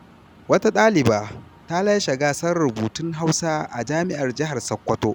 Wata ɗaliba ta lashe gasar rubutun Hausa a Jami’ar Jihar Sokoto.